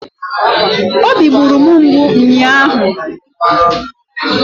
Obi gburu m mgbu ụnyaahụ